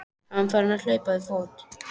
Hann var farinn að hlaupa við fót.